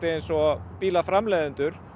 eins og bílaframleiðendur